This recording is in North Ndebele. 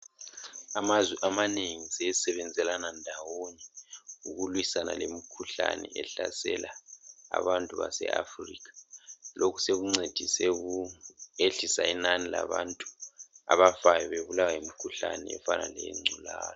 Amazwe amanengi asesebenzelani ndawonye ukulwisana lemikhuhlane eminengi ehlasela iAfrica. Lokhu sokuncedise ukwehlisa inani labantu bebulawa yimikhuhlane.